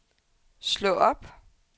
slå op